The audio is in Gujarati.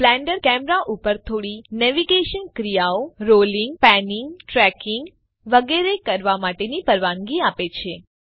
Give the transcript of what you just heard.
બ્લેન્ડર તમને કેમેરા ઉપર થોડી નેવિગેશનલ ક્રિયાઓ જેવી કે રોલિંગ પેનીંગ ટ્રેકિંગ વગેરે કરવા માટેની પરવાનગી આપે છે